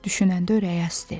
Düşünəndə ürəyi əsdi.